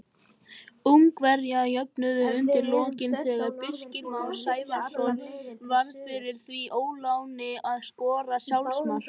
Ungverjar jöfnuðu undir lokin þegar Birkir Már Sævarsson varð fyrir því óláni að skora sjálfsmark.